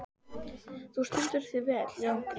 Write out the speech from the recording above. Þú stendur þig vel, Járngrímur!